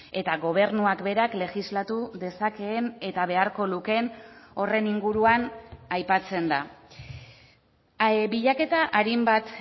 eta gobernuak berak legislatu dezakeen eta beharko lukeen horren inguruan aipatzen da bilaketa arin bat